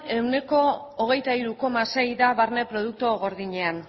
ehuneko hogeita hiru koma sei da barne produktu gordinean